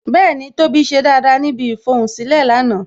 Bẹẹni, tóbi ṣe dáadáa níbi ifohunsilẹ lánàá